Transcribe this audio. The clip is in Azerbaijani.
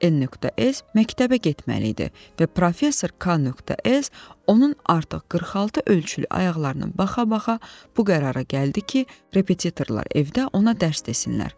N.S. məktəbə getməli idi və professor K.S. onun artıq 46 ölçülü ayaqlarına baxa-baxa bu qərara gəldi ki, repetitorlar evdə ona dərs desinlər.